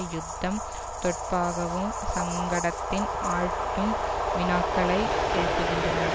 யுத்தம் தொட்பாகவும் சங்கடத்தின் ஆழ்த்தும் வினாக்களை எழுப்புகின்றன